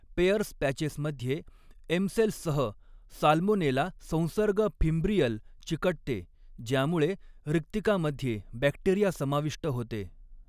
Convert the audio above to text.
Pairs पॅचेसमध्ये एमसेल्ससह salmonella संसर्ग फिमब्रियल चिकटते ज्यामुळे रिक्तिकामध्ये बॅक्टेरिया समाविष्ट होते.